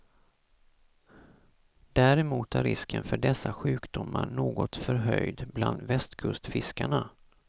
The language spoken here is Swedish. Däremot är risken för dessa sjukdomar något förhöjd bland västkustfiskarna.